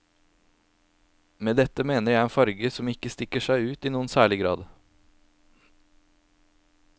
Med dette mener jeg en farge som ikke stikker seg ut i noen særlig grad.